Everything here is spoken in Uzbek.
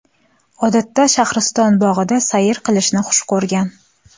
Odatda Shaxriston bog‘ida sayr qilishni xush ko‘rgan.